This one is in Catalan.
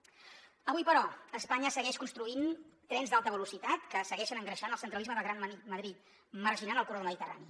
avui però espanya segueix construint trens d’alta velocitat que segueixen engreixant el centralisme de gran madrid marginant el corredor mediterrani